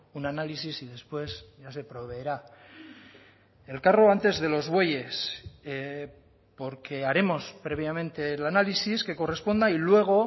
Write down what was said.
un análisis y después ya se proveerá el carro antes de los bueyes porque haremos previamente el análisis que corresponda y luego